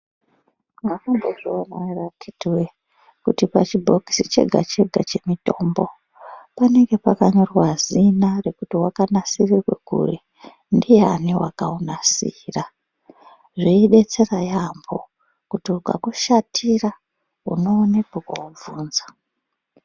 Mwakambozviona ere akhiti woye kuti pachibhokisi chega chega chemutombo panenge pakanyorwa kuti wakanasirirwe kuri ndiyani wakaunasira zveidetsera yaampo kuti ukakushatira unoone kwekoobvunza.